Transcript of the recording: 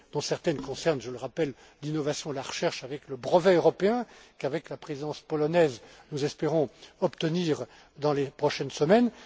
clés. Certaines concernent je le rappelle l'innovation et la recherche, notamment le brevet européen, qu'avec la présidence polonaise nous espérons obtenir dans les prochaines